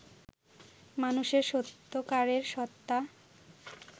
মানুষের সত্যকারের সত্ত্বা